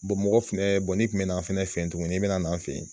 mɔgɔ fɛnɛ ni kun bɛna an fɛnɛ fɛ yen tuguni, i bɛna na an fɛ yen